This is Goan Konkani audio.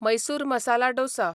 मैसूर मसाला डोसा